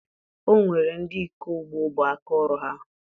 O nwere ndị ịkọ ugbo bụ aka ọrụ ha